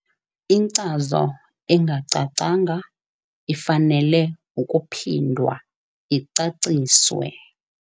Inkcazo engacacanga ifanele ukuphindwa icaciswe.